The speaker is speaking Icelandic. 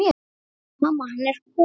Mamma, hann er kominn!